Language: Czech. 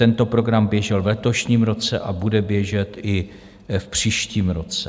Tento program běžel v letošním roce a bude běžet i v příštím roce.